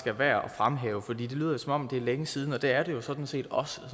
er værd at fremhæve for det lyder som om det er længe siden og det er det jo sådan set også